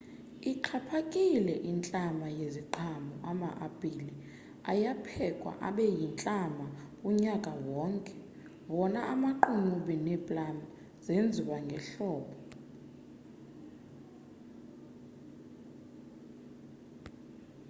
ixhaphikile intlama yeziqhamo ama-apile ayaphekwa abe yintlama unyaka wonke wona amaqunube neeplam zenziwa ngehlobo